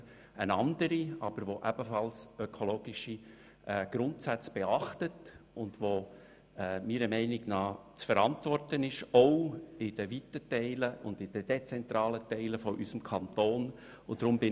Es handelt sich um eine andere Vorlage, die ebenfalls ökologische Grundsätze beachtet, und die meiner Meinung nach auch in den weiten und dezentralen Teilen unseres Kantons zu verantworten ist.